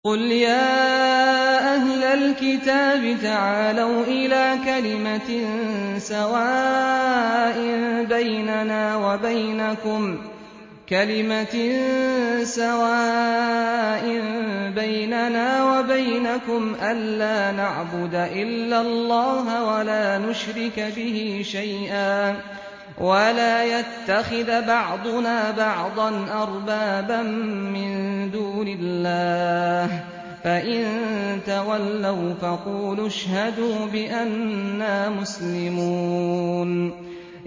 قُلْ يَا أَهْلَ الْكِتَابِ تَعَالَوْا إِلَىٰ كَلِمَةٍ سَوَاءٍ بَيْنَنَا وَبَيْنَكُمْ أَلَّا نَعْبُدَ إِلَّا اللَّهَ وَلَا نُشْرِكَ بِهِ شَيْئًا وَلَا يَتَّخِذَ بَعْضُنَا بَعْضًا أَرْبَابًا مِّن دُونِ اللَّهِ ۚ فَإِن تَوَلَّوْا فَقُولُوا اشْهَدُوا بِأَنَّا مُسْلِمُونَ